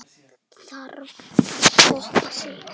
Þarf alltaf að toppa sig?